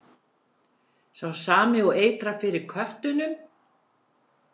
Sá sami og eitrar fyrir köttunum?